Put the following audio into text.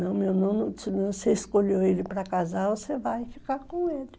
Não, meu nono, se você escolheu ele para casar, você vai ficar com ele.